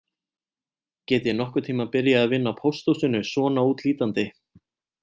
Get ég nokkurn tíma byrjað að vinna á pósthúsinu svona útlítandi